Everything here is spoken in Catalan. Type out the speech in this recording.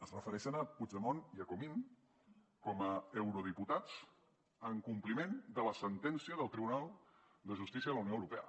es refereixen a puigdemont i a comín com a eurodiputats en compliment de la sentència del tribunal de justícia de la unió europea